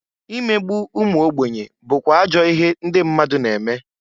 Imegbu umuogbenye bukwa ajọ ihe ndị mmadụ na-eme.